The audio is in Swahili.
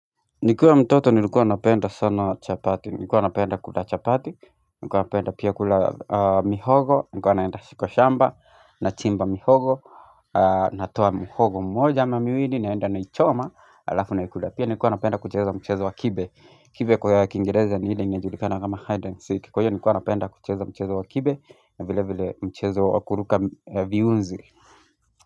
Nikiwa mtoto nilikuwa napenda sana chapati, nikuwa napenda kula chapati, nilikuwa napenda pia kula mihogo, nilikuwa naenda kwa shamba, nachimba mihogo, natoa muhogo mmoja ama miwili naenda naichoma, alafu naikula pia, nilikuwa napenda kucheza mchezo wa kibe, kibe kwa ya kiingereza ni ile ingejulikana kama hide and seek, kwaiyo nilikuwa napenda kucheza mchezo wa kibe, na vile vile mchezo wa kuruka viunzi.